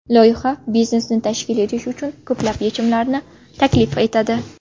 Loyiha biznesni tashkil qilish uchun ko‘plab yechimlarini taklif etadi.